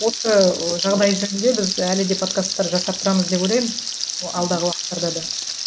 осы жағдай жөнінде біз әлі де подкасттар жасап тұрамыз деп ойлаймын алдағы уақытттарда да